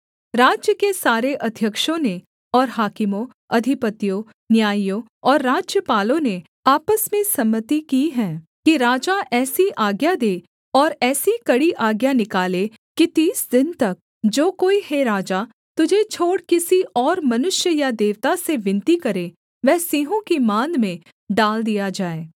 राज्य के सारे अध्यक्षों ने और हाकिमों अधिपतियों न्यायियों और राज्यपालों ने आपस में सम्मति की है कि राजा ऐसी आज्ञा दे और ऐसी कड़ी आज्ञा निकाले कि तीस दिन तक जो कोई हे राजा तुझे छोड़ किसी और मनुष्य या देवता से विनती करे वह सिंहों की माँद में डाल दिया जाए